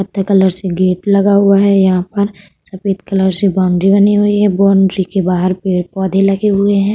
कत्थई कलर से गेट लगा हुआ है यहाँ पर। सफेद कलर से बाउंड्री बनी हुई है। बाउंड्री के बाहर पेड़-पौधे लगे हुए हैं।